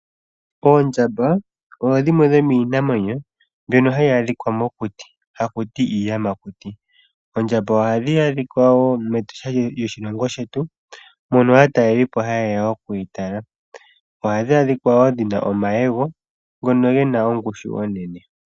Oondjamba odho dhimwe dhomiinamwenyo mbyono ha yi adhika mokuti ha ku ti iiyamakuti. Oondjamba ohadhi adhika wo mEtosha lyoshilonho shetu mono aatalelipo ha ye ya okudhi tala. Oha dhi adhika wo dhi na omayego ngono ge na ongushu.